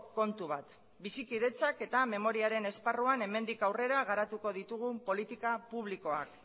kontu bat bizikidetzak eta memoriaren esparruan hemendik aurrera garatuko ditugun politika publikoak